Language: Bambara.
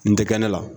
N tɛ kɛ ne la